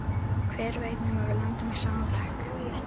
Hver veit nema við lendum í sama bekk!